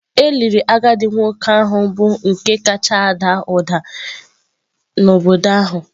E liri agadi nwoke ahụ bụ nke kacha ada ụda n’obodo ahụ